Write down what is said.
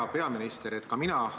Hea peaminister!